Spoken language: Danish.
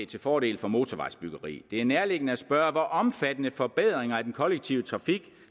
til fordel for motorvejsbyggeri det er nærliggende at spørge hvor omfattende forbedringer af den kollektive trafik